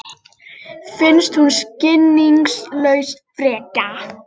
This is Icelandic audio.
Um leið stóðu nemendurnir á fætur og þustu hlæjandi á dyr.